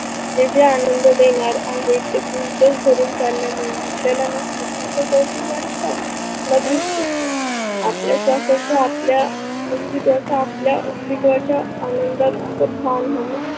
जे जे आनंद देणार आहे ते गुणच सरून चालल्या मुळे आपल्याला दृष्टीच कौतुक वाटत ना दृष्टीचे. आपल्या श्वासाच आपल्या अस्तिवाच आपल्या अस्तीवाच्या आनंदात भान हव.